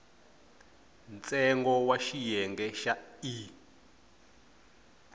ntsengo wa xiyenge xa e